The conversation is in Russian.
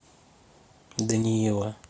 даниила